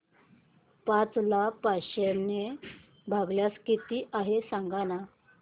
पाच ला पाचशे ने भागल्यास किती आहे सांगना